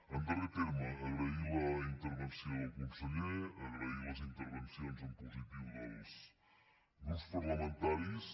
en darrer terme agrair la intervenció del conseller agrair les intervencions en positiu dels grups parlamentaris